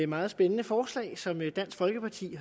meget spændende forslag som dansk folkeparti